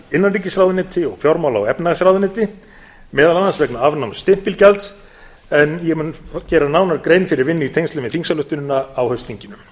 innanríkisráðuneyti og fjármála og efnahagsráðuneyti meðal annars vegna afnáms stimpilgjalds en ég mun nánar gera grein fyrir vinnu í tengslum við þingsályktunina á haustþinginu